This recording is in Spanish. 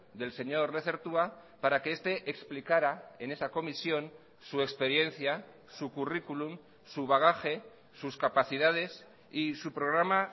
del señor lezertua para que este explicara en esa comisión su experiencia su currículum su bagaje sus capacidades y su programa